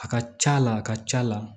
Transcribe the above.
A ka ca la a ka ca la